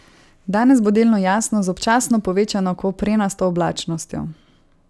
Danes bo delno jasno z občasno povečano koprenasto oblačnostjo.